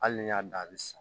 Hali n'i y'a dan a bɛ sa